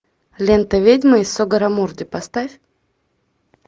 лента ведьмы из сугаррамурди поставь